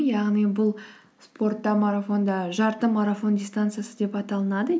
яғни бұл спортта марафонда жарты марафон дистанциясы деп аталынады